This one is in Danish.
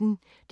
DR P1